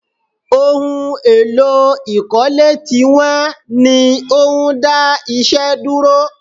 Ohun èlò ìkọ́lé ti wọ́n ní ó ń dá iṣẹ́ dúró